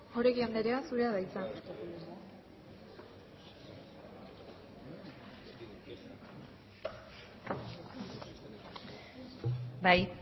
oregi anderea zurea da hitza